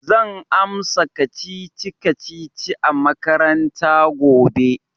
Zan amsa kacici-kacici a makaranta gobe.